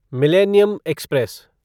millennium express